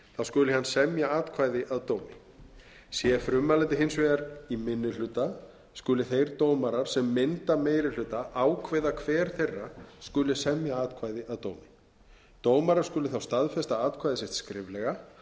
skuli hann semja atkvæði að dómi sé frummælandi hins vegar í minni hluta skuli þeir dómarar sem mynda meiri hluta ákveða hver þeirra skuli semja atkvæði að dómi dómarar skulu þá staðfesta atkvæði sitt skriflega og